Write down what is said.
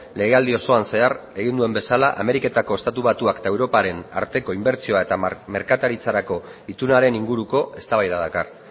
legealdi osoan zehar egin duen bezala ameriketako estatu batuak eta europaren arteko inbertsioa eta merkataritzarako itunaren inguruko eztabaida dakar